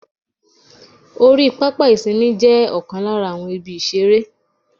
Orí pápá ìsinmi jé Òkan lára àwọn ibi ìṣeré